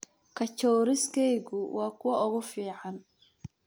Kachoriskeygu waa kuwa ugu fiican.